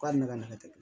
K'a ne ka na kɛ